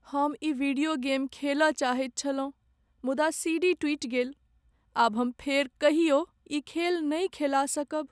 हम ई video game खेलय चाहैत छलहुँ मुदा सीडी टुटि गेल। आब हम फेर कहियो ई खेल नहि खेला सकब।